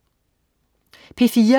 P4: